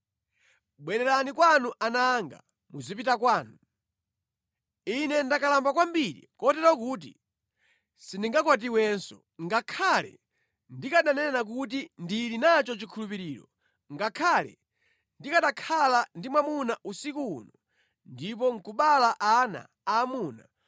Bwererani kwanu ana anga muzipita kwanu. Ine ndakalamba kwambiri kotero kuti sindingakwatiwenso. Ngakhale ndikananena kuti ndili nacho chikhulupiriro, ngakhale ndikanakhala ndi mwamuna usiku uno, ndipo nʼkubala ana aamuna,